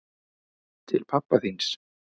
Til pabba þíns.